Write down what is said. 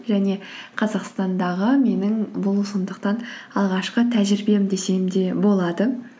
және қазақстандағы менің бұл сондықтан алғашқы тәжірибем десем де болады